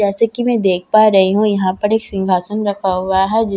जैसे की मैं देख पा रही हूँ यहाँ पर एक सिंघासन रखा हुआ हैं जिसका --